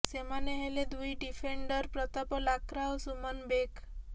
ସେମାନେ ହେଲେ ଦୁଇ ଡିଫେଣ୍ଡର ପ୍ରତାପ ଲାକ୍ରା ଓ ସୁମନ ବେକ